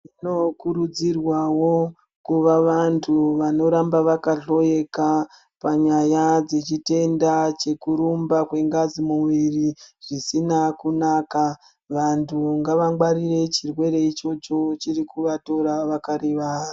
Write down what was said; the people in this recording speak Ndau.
Tinokurudzirwawo kuva vantu vanoramba vakahloyeka panyaya dzechitenda chekurumba kwengazi mumwiri zvisina kunaka. Vantu ngavangwarire chirwere ichocho, chirikuvatora vakarivara.